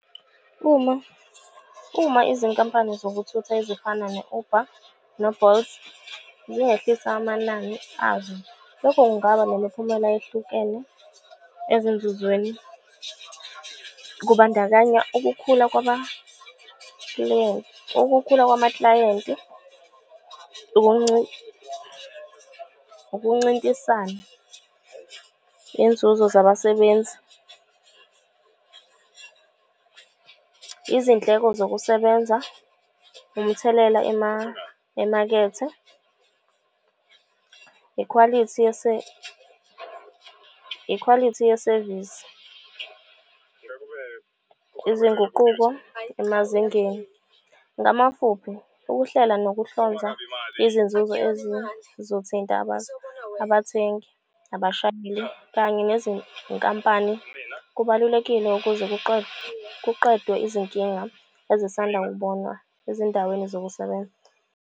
Uma, uma izinkampani zokuthutha ezifana no-Uber no-Bolt zingehlisa amanani azo, lokho kungaba nemiphumela ehlukene ezinzuzweni. Kubandakanya ukukhula , ukukhula kwamakilayenti, ukuncintisana, iy'nzuzo zabasebenzi. Izindleko zokusebenza, umthelela emakethe, ikhwalithi ikhwalithi yesevisi. Izinguquko emazingeni, ngamafuphi ukuhlela nokuhlanza izinzuzo ezizothinta abathengi, abashayeli kanye nezinkampani. Kubalulekile ukuze kuqedwe izinkinga ezisanda kubonwa ezindaweni zokusebenza.